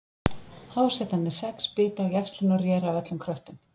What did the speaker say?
Hásetarnir sex bitu á jaxlinn og réru af öllum kröftum.